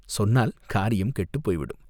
சொன்னால் காரியம் கெட்டுப் போய்விடும்!